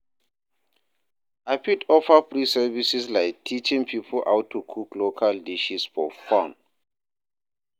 I fit offer free services like teaching people how to cook local dishes for fun.